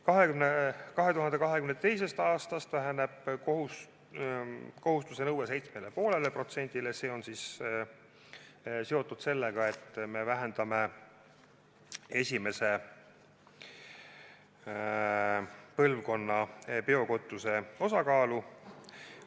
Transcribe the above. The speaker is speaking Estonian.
2022. aastast väheneb kohustuse nõue 7,5%-le, see on seotud sellega, et me vähendame esimese põlvkonna biokütuse osakaalu.